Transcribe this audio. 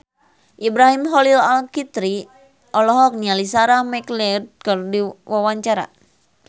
Ibrahim Khalil Alkatiri olohok ningali Sarah McLeod keur diwawancara